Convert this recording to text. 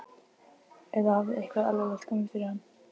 Eða hafði eitthvað alvarlegt komið fyrir hann?